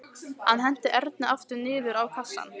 Hann henti Erni aftur niður á kassann.